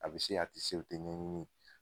A bi se a ti se, o tɛ ɲɛɲini